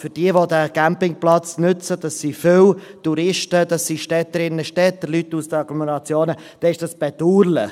Für diejenigen, die diesen Campingplatz nutzen – das sind viele: Touristen, Städterinnen und Städter, Leute aus den Agglomerationen –, ist dies bedauerlich.